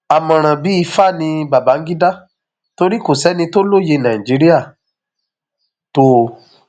àmọràn bíi ifá ní bangida torí kò sẹni tó lóye nàìjíríà tó o